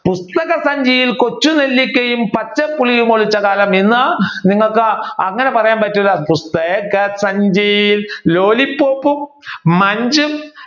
പുസ്‌തക സഞ്ചിയിൽ കൊച്ചു നെല്ലിക്കയും പച്ച പുളിയും ഒളിച്ച കാലം ഇന്ന് നിങ്ങൾക്ക് അങ്ങനെ പറയാൻ പറ്റുക പുസ്തക സഞ്ചിയിൽ lollipop ഉം munch ഉം